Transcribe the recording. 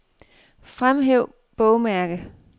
Fremhæv bogmærke.